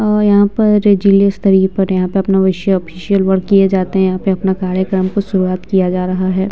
अ यहाँ पर जिले स्तरीय पर यहाँ पर अपना वैसे ऑफिशियल वर्क किए जाते हैं यहाँ पर अपना कार्यक्रम को शुरूआत किया जा रहा है।